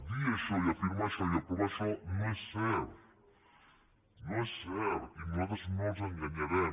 dir això i afirmar això i aprovar això no és cert no és cert i nosaltres no els enganyarem